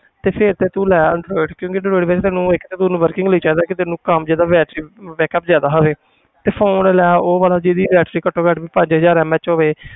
ਤੇ ਫਿਰ ਤੇ ਤੂੰ ਲੈ android ਕਿਉਂਕਿ android ਵਿੱਚ ਤੁਹਾਨੂੰ ਇੱਕ ਤਾਂ ਤੈਨੂੰ working ਲਈ ਚਾਹੀਦਾ ਕਿ ਤੈਨੂੰ ਕੰਮ 'ਚ ਤਾਂ battery backup ਜ਼ਿਆਦਾ ਹੋਵੇ ਤੇ phone ਲੈ ਉਹ ਵਾਲਾ ਜਿਹਦੀ battery ਘੱਟੋ ਘੱਟ ਪੰਜ ਹਜ਼ਾਰ MAH ਹੋਵੇ